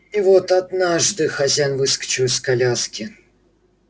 и вот однажды хозяин выскочил из коляски